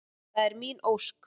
Það er mín ósk.